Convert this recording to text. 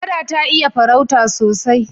Kada ta iya farauta sosai.